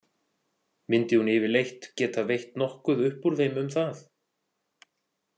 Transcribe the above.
Myndi hún yfirleitt geta veitt nokkuð upp úr þeim um það?